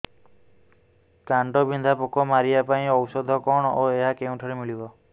କାଣ୍ଡବିନ୍ଧା ପୋକ ମାରିବା ପାଇଁ ଔଷଧ କଣ ଓ ଏହା କେଉଁଠାରୁ ମିଳିବ